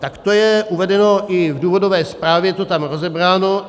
Tak to je uvedeno i v důvodové zprávě, je to tam rozebráno.